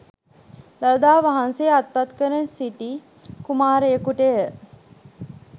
දළදා වහන්සේ අත්පත් කරගෙන සිටි කුමාරයකුටය